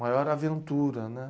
Maior aventura, né?